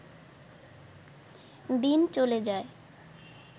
দিন চলে যায়